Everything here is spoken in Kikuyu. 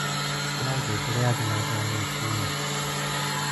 ĩkĩra ngengere ya thĩnacara rũcĩĩnĩ